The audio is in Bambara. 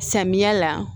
Samiya la